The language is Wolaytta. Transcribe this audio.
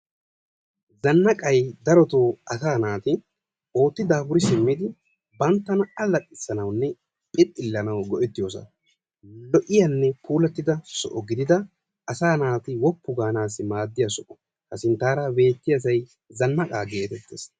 Zanaqqay daroto asa naati ootti daafuri simmidi banttana allaxxisanawunne phixxillanaw go''ettiyosa. lo''iyaanne puulattida soho gididi asaa naati woppu gaanassi maaddiya soho. ha sinttara beettiyaasay zanaqa getettees.